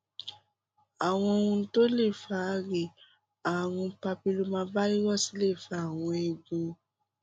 àwọn ohun tó lè fà á rèé ààrùn papillomavirus lè fa àwọn ẹgún